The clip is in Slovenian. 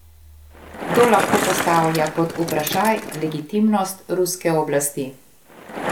Kdo lahko postavlja pod vprašaj legitimnost ruske oblasti?